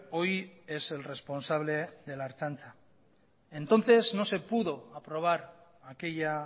hoy es el responsable de la ertzaintza entonces no se pudo aprobar aquella